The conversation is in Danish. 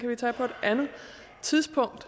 vi tage på et andet tidspunkt